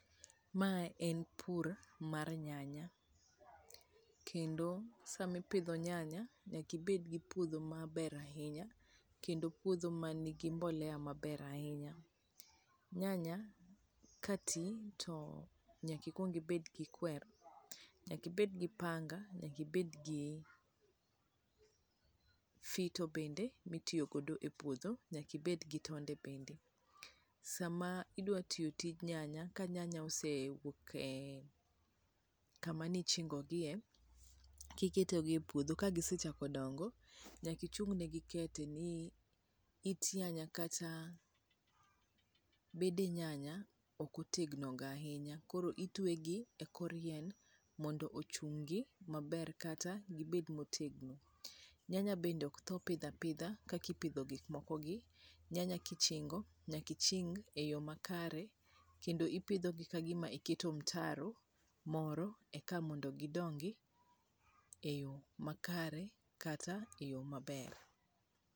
Ma en pur mar nyanya. Kendo sama ipidho nyanya, nyaka ibed gi puodho maber ahinya. Kendo puodho manigi mbolea maber ahinya. Nyanya ka ti to nyaka ikwong ibed gi kwer. Nyaka ibed gi panga. Nyaka ibed gi fito bende ma itiyo go e puodho. Nyaka ibed gi tonde bende. Sama idwa tiyo tij nyanya ka nyanya oseyuok e kama ne ichingo gie, kiketo gi e puodho. Ka gisechako dongo, nyaka ichung negi kete ni it nyanya kata bede nyanya ok otegno ga ahinya, Koro itweyo gi e kor yien, mondo ochung'gi maber kata gibed motegno. Nyanya bende ok tho pidho apidha kaka ipidho gik moko gi, nyanya kichingo, nyaka iching e yo makare. Kendo ipidho gi ka gima iketo mtaro moro eka mondo gidongi e yo makare, kata e yo maber.